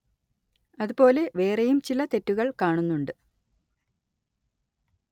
അതുപോലെ വേറെയും ചില തെറ്റുകള്‍ കാണുന്നുണ്ട്